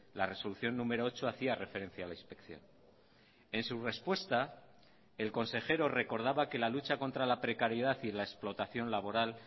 la resolución número ocho hacía referencia a la inspección en su respuesta el consejero recordaba que la lucha contra la precariedad y la explotación laboral